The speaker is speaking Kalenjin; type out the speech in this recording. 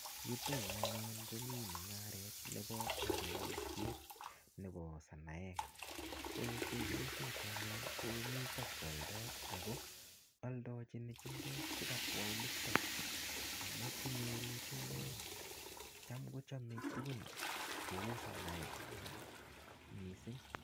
Yutoyu anyun komii mung'aret nebo aldoisiet nebo sanaek. Ko chepyosok anyun, komite kwaldoi. Ako aldochin chumbek chekabwa olitok. Amu inyoru chumbek, cham kochame tuguk cheu sonai eng missing.